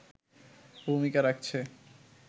ভূমিকা রাখছে